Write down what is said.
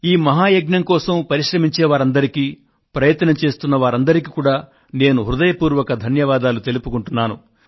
ఈ మహా యజ్ఞం కోసం పరిశ్రమించేవారందరికీ ప్రయత్నం చేస్తున్న వారందరికీ కూడా నేను హృదయపూర్వక ధన్యవాదాలు తెలుపుకుంటున్నాను